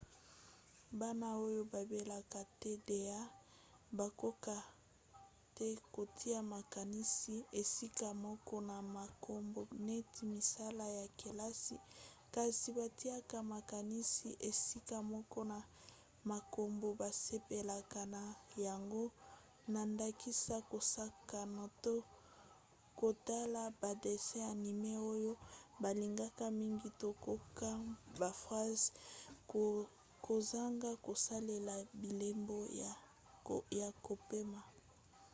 bana oyo babelaka tda bakokaka te kotia makanisi esika moko na makambo neti misala ya kelasi kasi batiaka makanisi esika moko na makambo basepelaka na yango na ndakisa kosakana to kotala badessin anime oyo balingaka mingi to kokoma ba phrase kozanga kosalela bilembo ya kopema